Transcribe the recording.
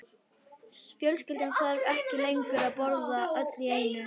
Fjölskyldan þarf ekki lengur að borða öll í einu.